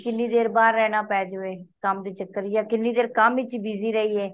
ਕਿਹਣੀ ਦੇਰ ਬਾਹਰ ਰਹਿਣਾ ਪੈ ਜਾਵੇ ਕੰਮ ਦੇ ਚੱਕਰ ਆ ਕੀਹਨੇ ਦੇਰ ਕੰਮ ਚ busy ਰਹੀਏ